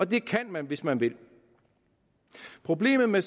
det kan man hvis man vil problemet med